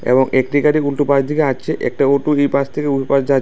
এবং একটি গাড়ি উল্টো পাশ দিকে হাঁটছে একটা অটো এই পাশ থেকে ওই পাহ যা--